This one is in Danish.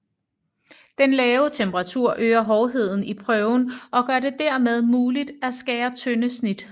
Den lave temperatur øger hårdheden i prøven og gør det dermed muligt at skære tynde snit